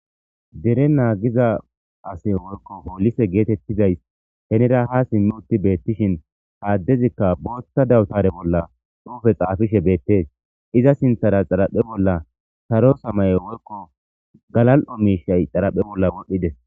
dere naagiza ase woyko poolise geetettizays henira ha simm utti beettishin haaddezikka boothta dawutare bolla dhuufe qaafishe beettes iza sinthara xaraphe bolla saro samaye woykko galal7o miishay xaraphe bolla wodhdhides